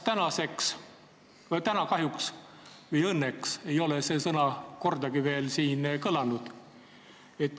Täna ei ole kahjuks või õnneks see sõna veel kordagi siin kõlanud.